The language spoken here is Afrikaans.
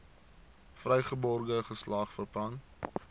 vrygebore geslag verpand